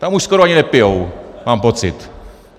Tam už skoro ani nepijí, mám pocit.